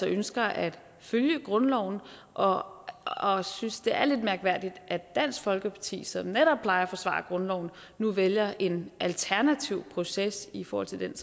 ønsker at følge grundloven og og synes det er lidt mærkværdigt at dansk folkeparti som netop plejer at forsvare grundloven nu vælger en alternativ proces i forhold til den